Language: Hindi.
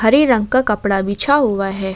हरे रंग का कपड़ा बिछा हुआ है।